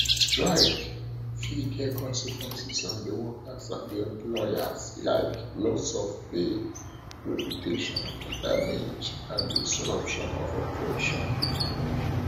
srike fit get consequences on di workers and di employers like loss of pay reputation damage and disruption of operations